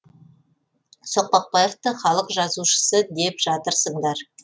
соқпақбаевты халық жазушысы деп жатырсыңдар